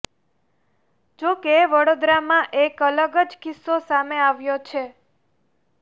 જો કે વડોદરામાં એક અલગ જ કિસ્સો સામે આવ્યો છે